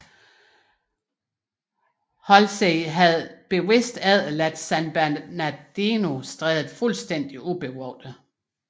Halsey havde bevidst efterladt San Bernardino Strædet fuldstændig ubevogtet